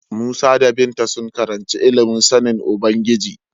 Musa da Binta sun karanci ilimin sanin Ubangiji.